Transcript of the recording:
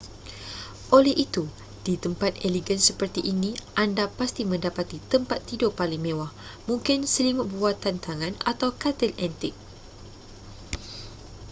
oleh itu di tempat elegan seperti ini anda pasti mendapati tempat tidur paling mewah mungkin selimut buatan tangan atau katil antik